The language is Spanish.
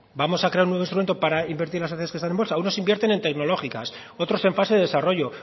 vamos a crear un nuevo instrumento para invertir en las sociedades que están en bolsa unos invierten en tecnológicas otros en fases de desarrollo